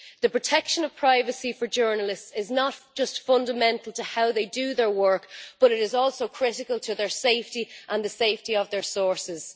The protection of privacy for journalists is not just fundamental to how they do their work, but it is also critical to their safety, and the safety of their sources.